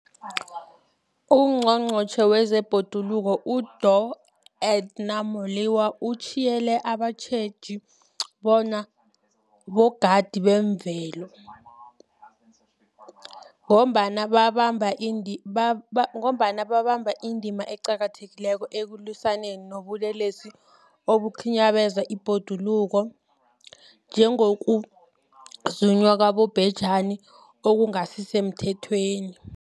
UNgqongqotjhe wezeBhoduluko uDorh Edna Molewa uthiyelele abatjheji bona 'bogadi bezemvelo' ngombana babamba indima eqakathekileko ekulwisaneni nobulelesi obukhinyabeza ibhoduluko, njengokuzunywa kwabobhejani okungasisemthethweni.